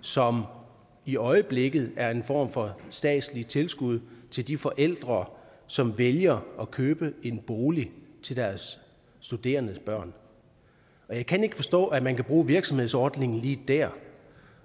som i øjeblikket er en form for statsligt tilskud til de forældre som vælger at købe en bolig til deres studerende børn og jeg kan ikke forstå at man kan bruge virksomhedsordningen lige der